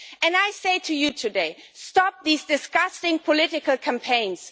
And I say to you today stop these disgusting political campaigns.